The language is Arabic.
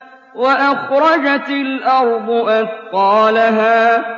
وَأَخْرَجَتِ الْأَرْضُ أَثْقَالَهَا